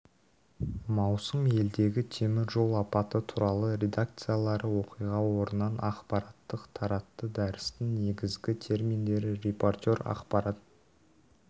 маусым елдегі темір жол апаты туралы редакциялары оқиға орнынан ақпараттар таратты дәрістің негізгі терминдері репортер ақпарат